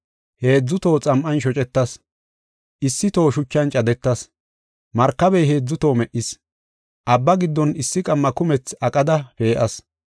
Heedzu toho xam7an shocetas; issi toho shuchan cadetas; markabey heedzu toho me77is; abba giddon issi qamma kumethi aqada pee7as.